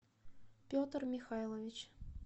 петр михайлович